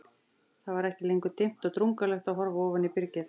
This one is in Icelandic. Það var ekki lengur dimmt og drungalegt að horfa ofan í byrgið.